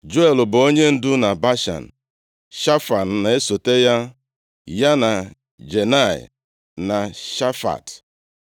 Juel bụ onyendu na Bashan, Shafam na-esote ya, ya na Janai na Shafat.